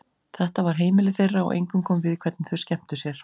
Þetta var heimilið þeirra og engum kom við hvernig þau skemmtu sér.